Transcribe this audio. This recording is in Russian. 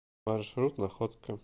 маршрут находка